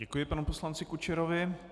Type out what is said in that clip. Děkuji panu poslanci Kučerovi.